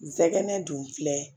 Nsɛgɛn dun filɛ